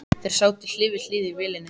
Þeir sátu hlið við hlið í vélinni.